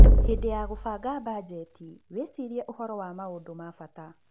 Hĩndĩ ya kũbanga mbanjeti, wĩcirie ũhoro wa maũndu ma bata.